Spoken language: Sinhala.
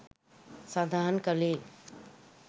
සඳහන් කළේ